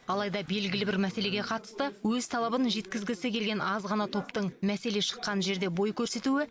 алайда белгілі бір мәселеге қатысты өз талабын жеткізгісі келген аз ғана топтың мәселе шыққан жерде бой көрсетуі